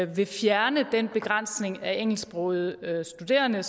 vil fjerne den begrænsning af engelsksprogede studerende